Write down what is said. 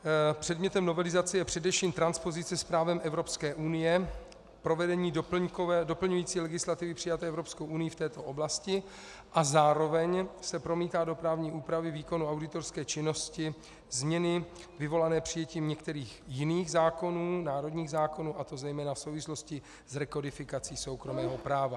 Předmětem novelizace je především transpozice s právem Evropské unie, provedení doplňující legislativy přijaté Evropskou unií v této oblasti a zároveň se promítají do právní úpravy výkonu auditorské činnosti změny vyvolané přijetím některých jiných zákonů, národních zákonů, a to zejména v souvislosti s rekodifikací soukromého práva.